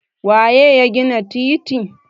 waye ya gina titin?